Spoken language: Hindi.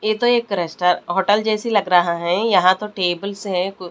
ये तो एक रेस्ट होटल जैसी लग रहा है यहां तो टेबल्स है--